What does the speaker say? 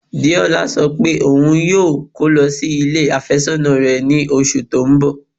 Deọla sọ pé ọún yóò kọ́ lọ sí ilẹ̀ afésònà rẹ̀ ní ọṣù tó n bọ̀.